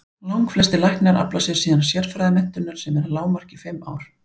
Langflestir læknar afla sér síðan sérfræðimenntunar sem er að lágmarki fimm ár.